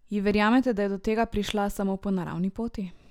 Ji verjamete, da je do tega prišla samo po naravni poti?